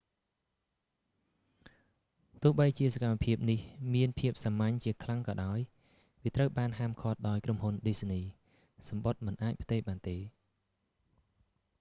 ទោបីះជា​សកម្មភាពនេះមានភាពសាមញ្ញជាខ្លាំងក៏ដោយ​ វា​ត្រូវ​បាន​ហាម​ឃាត់​ដោយ​ក្រុមហ៊ុន​ disney៖ សំបុត្រ​មិន​អាច​ផ្ទេរ​បាន​ទេ​។